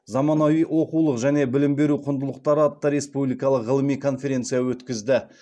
заманауи оқулық және білім беру құндылықтары атты республикалық ғылыми конференция өткізді